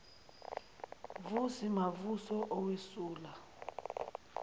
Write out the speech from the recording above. vusi mavuso owesula